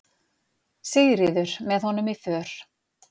Sigríður, með honum í för.